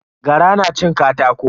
Gara na cin katako.